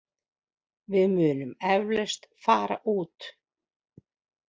Við munum eflaust fara út.